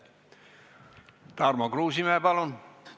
Tarmo Kruusimäe, palun!